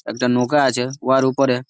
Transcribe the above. একটা নৌকা আছে। উহার ওপরে --